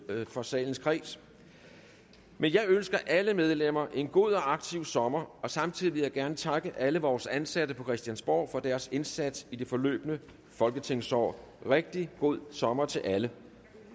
for salens kreds men jeg ønsker alle medlemmer en god og aktiv sommer og samtidig vil jeg gerne takke alle vores ansatte på christiansborg for deres indsats i det forløbne folketingsår rigtig god sommer til alle